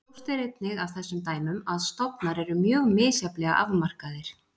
Ljóst er einnig af þessum dæmum að stofnar eru mjög misjafnlega afmarkaðir.